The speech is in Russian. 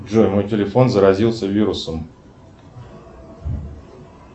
джой мой телефон заразился вирусом